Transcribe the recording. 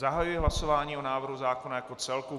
Zahajuji hlasování o návrhu zákona jako celku.